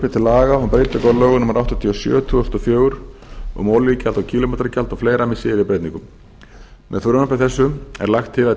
til laga um breytingu á lögum númer áttatíu og sjö tvö þúsund og fjögur um olíugjald og kílómetragjald og fleira með síðari breytingum með frumvarpi þessu er lagt til